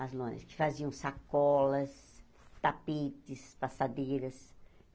As lonas que faziam sacolas, tapetes, passadeiras.